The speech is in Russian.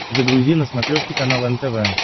загрузи на смотрешке канал нтв